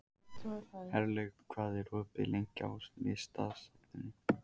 Herlaug, hvað er opið lengi í Listasafninu?